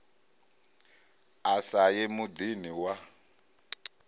a sa ye muḓini wa